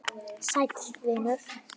Sæll vinur